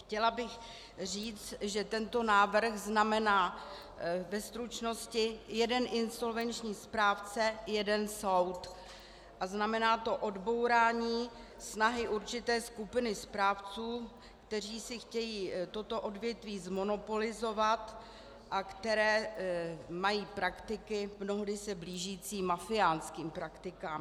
Chtěla bych říct, že tento návrh znamená ve stručnosti jeden insolvenční správce - jeden soud a znamená to odbourání snahy určité skupiny správců, kteří si chtějí toto odvětví zmonopolizovat a kteří mají praktiky mnohdy se blížící mafiánským praktikám.